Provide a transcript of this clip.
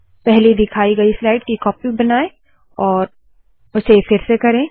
पहली दिखाई गयी स्लाइड की कॉपी बनाए और उसे फिर से करे